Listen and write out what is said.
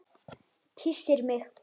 Kyssir mig.